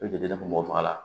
I jɔ don mɔgɔ faga la